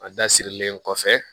A da sirilen kɔfɛ